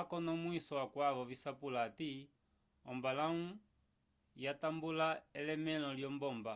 akonomwiso akwavo visapulo hati ombalãwu yatambula elemẽlo lyombomba